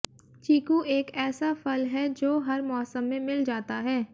चीकू एक ऐसा फल है जो हर मौसम में मिल जाता है